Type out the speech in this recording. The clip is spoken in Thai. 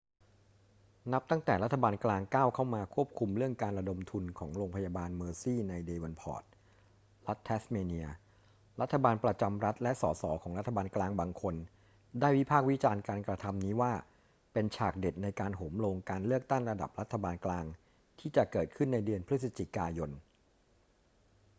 นับตั้งแต่รัฐบาลกลางก้าวเข้ามาควบคุมเรื่องการระดมทุนของโรงพยาบาลเมอร์ซีย์ในเดวอนพอร์ต รัฐแทสเมเนีย รัฐบาลประจำรัฐและส ส ของรัฐบาลกลางบางคนได้วิพากษ์วิจารณ์การกระทำนี้ว่าเป็นฉากเด็ดในการโหมโรงการเลือกตั้งระดับรัฐบาลกลางที่จะเกิดขึ้นในเดือนพฤศจิกายน